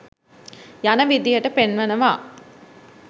යන විදිහට පෙන්වනවා